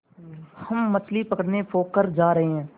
हम मछली पकड़ने पोखर जा रहें हैं